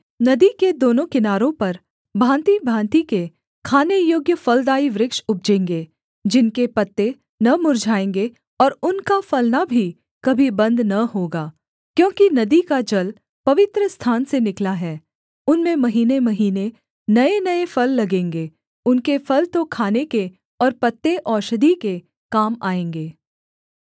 नदी के दोनों किनारों पर भाँतिभाँति के खाने योग्य फलदाई वृक्ष उपजेंगे जिनके पत्ते न मुर्झाएँगे और उनका फलना भी कभी बन्द न होगा क्योंकि नदी का जल पवित्रस्थान से निकला है उनमें महीनेमहीने नयेनये फल लगेंगे उनके फल तो खाने के और पत्ते औषधि के काम आएँगे